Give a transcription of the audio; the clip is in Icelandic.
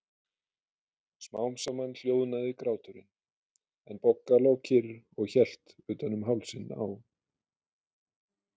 Smám saman hljóðnaði gráturinn, en Bogga lá kyrr og hélt utan um hálsinn á